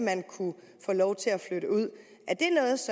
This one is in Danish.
kunne få lov til at flytte ud